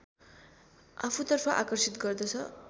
आफूतर्फ आकर्षित गर्दछ